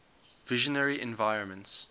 visionary environments